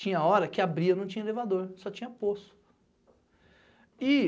Tinha hora que abria, não tinha elevador, só tinha poço.